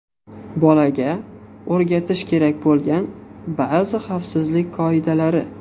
Bolaga o‘rgatish kerak bo‘lgan ba’zi xavfsizlik qoidalari.